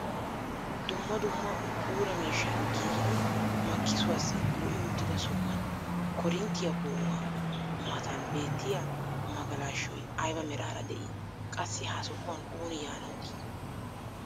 Dumma dumma puula miishshan giigiidi makkisuwaassi lo"i uttida sohuwaan korinttiyaa poo'uwaa matam beettiyaa magalashoy ayba meraara de'ii? qassi ha sohuwaan ooni yaanawu de'ii?